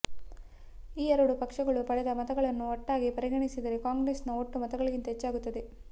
ಈ ಎರಡೂ ಪಕ್ಷಗಳು ಪಡೆದ ಮತಗಳನ್ನು ಒಟ್ಟಾಗಿ ಪರಿಗಣಿಸಿದರೆ ಕಾಂಗ್ರೆಸ್ನ ಒಟ್ಟು ಮತಗಳಿಗಿಂತ ಹೆಚ್ಚಾಗುತ್ತದೆ